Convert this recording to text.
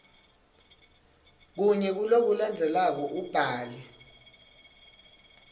kunye kulokulandzelako ubhale